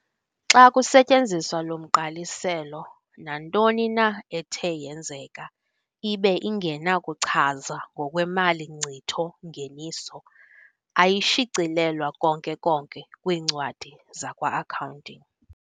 Xa kusetyenziswa lo mgqaliselo, nantonina ethe yenzeka ibe ingenakuchazwa ngokwemali Nkcitho-Ngeniso, ayishicilelwa konke-konke kwiincwadi zakwa-Accounting.